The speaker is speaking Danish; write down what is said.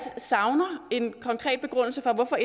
savner en konkret begrundelse for hvorfor